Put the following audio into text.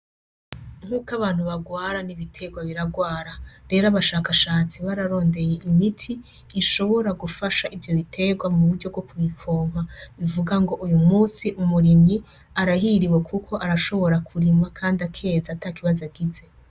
Nkuk'abantu barwara n'ibiterwa birarwara; rero abashakashatsi bararondey'imiti ishobora gufasha ivyo biterwa muburyo bwoku bipompa bivuga ng'uyumusi umurimyi arahiriwe kuko arashobora kurima kand'akeza atakibazo agize.